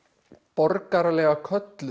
borgaralega köllun